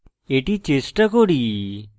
এটি চেষ্টা করি